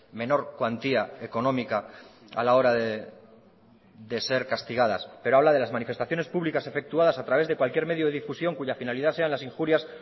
menor cuantía económica a la hora de ser castigadas pero habla de las manifestaciones públicas efectuadas a través de cualquier medio de difusión cuya finalidad sean las injurias